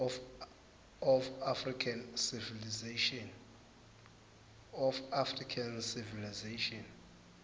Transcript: of african civilization